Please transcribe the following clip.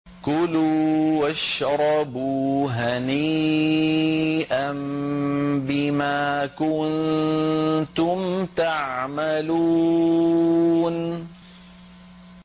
كُلُوا وَاشْرَبُوا هَنِيئًا بِمَا كُنتُمْ تَعْمَلُونَ